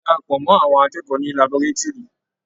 A darapọ̀ mọ́ àọn akẹ́kọ̀ọ́ ní laborétúrì.